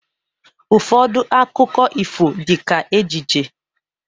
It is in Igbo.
Ụfọdụ akụkọ ifo dị ka ejije